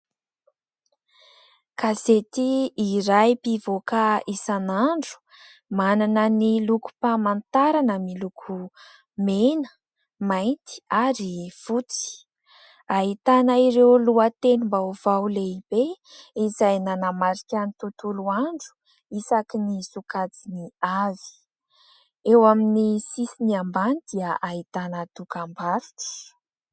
Gazety iray mpivoaka isan'andro. Manana ny lokom-pahamantarana miloko : mena, mainty, ary fotsy. Ahitana ireo lohatenim-baovao lehibe, izay nanamarika ny tontolo andro, isakin'ny sokajiny avy. Eo amin'ny sisiny ambany dia ahitana dokambarotra.